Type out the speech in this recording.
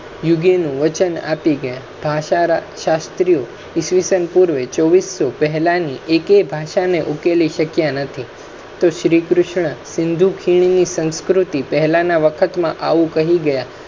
યુગે નુ વચન આપી ગયા ભાષા રા. શાસ્ત્રીય ઈસ પૂર્વે બે હજાર ચાર સો પહેલા ની એકે ભાષા ને ઉકેલી શક્યા નથી તો શ્રી કૃષ્ણ હિંદુ ખિણની સંસ્કૃતિ પહેલા ના વખત મા આવુ કહી ગયા